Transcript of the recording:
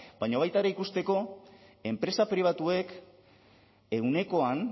baina baita ere ikusteko enpresa pribatuek ehunekoan